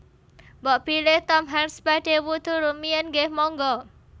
Mbok bilih Tom Hanks badhe wudhu rumiyin nggeh monggo